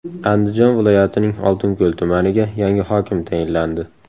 Andijon viloyatining Oltinko‘l tumaniga yangi hokim tayinlandi.